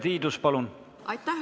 Aitäh!